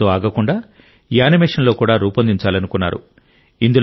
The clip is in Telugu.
ఇంతటితో ఆగకుండా యానిమేషన్లో కూడా రూపొందించాలనుకున్నారు